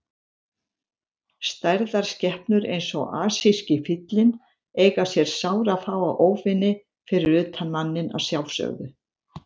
Stærðar skepnur eins og asíski fíllinn eiga sér sárafáa óvini, fyrir utan manninn að sjálfsögðu.